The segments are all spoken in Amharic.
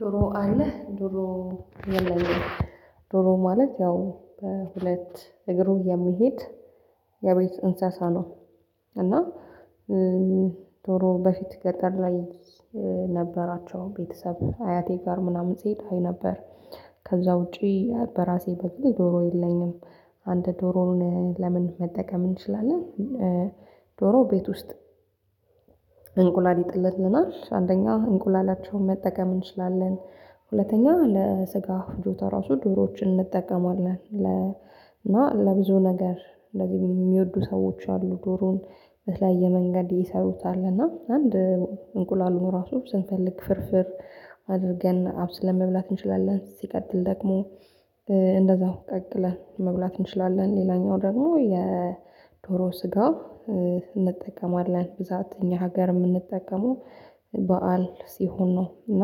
ዶሮ አለህ ዶሮ የለም ዶሮ ማለት ያው በሁለት እግሩ የሚሄድ የቤት እንስሳ ነው። እና ዶሮ በፊት ገጠር ላይ ነበራቸው ቤተሰብ አያቴ ጋር ምናምን ስሄድ አይ ነበር። ከዛ ውጪ በራሴ በኩል ዶሮ የለኝም። አንድ ዶሮን ለምን መጠቀም እንችላለን? ዶሮ ቤት ውስጥ እንቁላል ይጥልልናል አንደኛው እንቁላላቸውን መጠቀም እንችላለን። ሁለተኛ ለስጋ ፍጆታ ራሱ ዶሮዎችን እንጠቀማለን። እና ለብዙ ነገር እንደዚህ የሚወዱ ሰዎች አሉ። ዶሮውን በተለያየ መንገድ ይሰሩታል እና አንድ እንቁላሉን ራሱ ስንፈልግ ፍርፍር። አድርገን አብስለን መብላት እንችላለን ሲቀጥል ደግሞ እንደዛው ቀቅለን መብላት እንችላለን። ሌላኛው ደግሞ የዶሮ ስጋ እንጠቀማለን ብዛት እኛ ሀገር የምንጠቀመው በዓል ሲሆን ነው። እና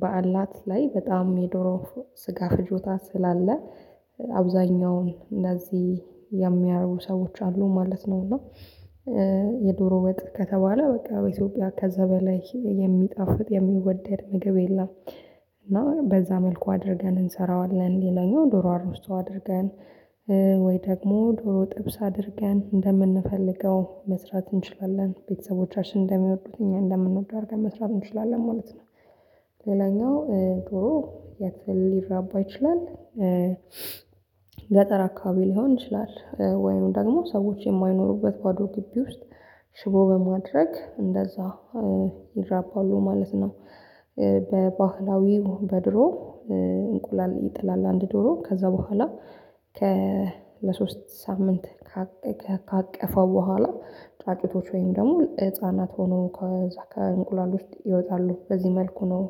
በዓላት ላይ በጣም የዶሮ ስጋ ፍጆታ ስላለ አብዛኛውን እንደዚህ የሚያደርጉ ሰዎች አሉ ማለት ነው። እና የዶሮ ወጥ ከተባለ በቃ በኢትዮጵያ ከዛ በላይ የሚጣፍጥ የሚወደድ ምግብ የለም። እና በዛ መልኩ አድርገን እንሰራዋለን ሌላኛው ዶሮ አሩስቶ አድርገን ወይ ደግሞ ዶሮ ጥብስ አድርገን እንደምንፈልገው መስራት እንችላለን ቤተሰቦቻችን እንደሚወዱት እኛ እንደምንወደው አድርገን መስራት እንችላለን ማለት ነው። ሌላኛው ዶሮ የት ሊራባ ይችላል? ገጠር አካባቢ ሊሆን ይችላል ወይም ደግሞ ሰዎች የማይኖሩበት ባዶ ግቢ ውስጥ ሽቦ በማድረግ እንደዛ ይራባሉ ማለት ነው። በባህላዊው በድሮ እንቁላል ይጥላል አንድ ዶሮ ከዛ በኋላ ከ ለሶስት ሳምንት ካቀፋ በኋላ ጫጩቶች ወይም ደግሞ ህፃናት ሆኖ ከዛ ከእንቁላል ውስጥ ይወጣሉ በዚህ መልኩ ነው።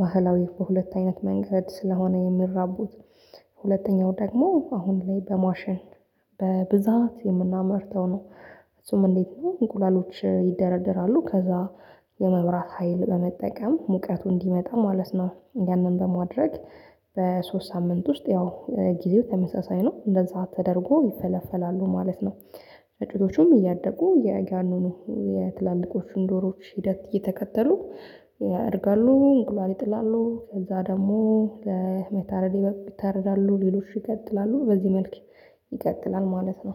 ባህላዊ በሁለት አይነት መንገድ ስለሆነ የሚራቡት። ሁለተኛው ደግሞ አሁን ላይ በማሸን በብዛት የምናመርተው ነው። እሱም እንዴት ነው? እንቁላሎች ይደረደራሉ ከዛ የመብራት ሀይል በመጠቀም ሙቀቱ እንዲመጣ ማለት ነው። ያንን በማድረግ በሶስት ሳምንት ውስጥ ያው ጊዜው ተመሳሳይ ነው እንደዛ ተደርጎ ይፈለፈላሉ ማለት ነው። ጫጩቶቹም እያደጉ የጋኑኑ የትላልቆቹን ዶሮውዎች ሂደት እየተከተሉ ያድጋሉ እንቁላል ይጥላሉ ከዛ ደግሞ ለመታረድ ይታረዳሉ ሌሎች ይቀጥላሉ በዚህ መልክ ይቀጥላል። ማለት ነው።